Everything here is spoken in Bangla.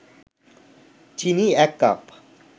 চিনি ১ কাপ